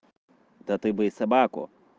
да ты бы и собаку